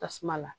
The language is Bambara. Tasuma la